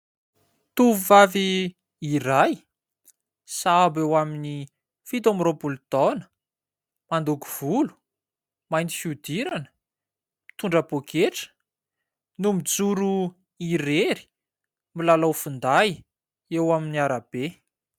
Tovovavy iray sahabo eo amin'ny fito amby roapolo taona, mandoko volo, mainty fihodirana, mitondra poketra no mijoro irery, milalao finday eo amin'ny arabe.